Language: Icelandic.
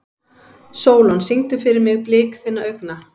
Sólon, syngdu fyrir mig „Blik þinna augna“.